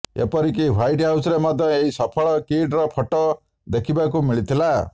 ଏପରି କି ହ୍ୱାଇଟ୍ ହାଉସରେ ମଧ୍ୟ ଏହି ସଫଳ କିଡର ଫଟୋ ଦେଖିବାକୁ ମିଳିଥିଲା